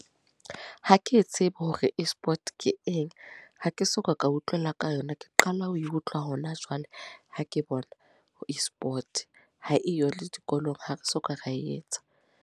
Ha ke tsebe hore e-Sport, ke eng. Ha ke soka ka utlwela ka yona. Ke qala ho e utlwa hona jwale, ha ke bona ho e-Sport. Ha eyo le dikolong. Ha re soka ra e etsa.